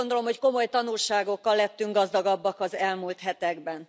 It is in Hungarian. Azt gondolom, hogy komoly tanulságokkal lettünk gazdagabbak az elmúlt hetekben.